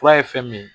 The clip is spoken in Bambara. Fura ye fɛn min ye